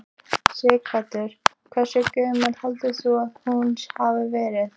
Sighvatur: Hversu gömul heldur þú að hún hafi verið?